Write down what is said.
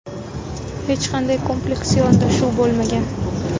Hech qanday kompleks yondashuv bo‘lmagan.